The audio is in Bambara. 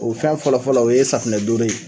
O fɛn fɔlɔ fɔlɔ o ye safunɛ dooro ye.